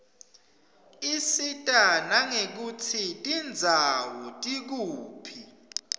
isita nangekutsi tindzawo tikuphi